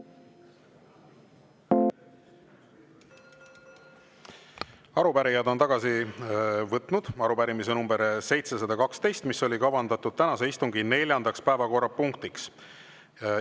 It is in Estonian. Arupärijad on tagasi võtnud arupärimise nr 712, mis oli kavandatud tänase istungi neljandaks päevakorrapunktiks.